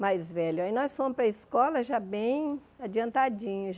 Mais velho aí nós fomos para a escola já bem adiantadinhos.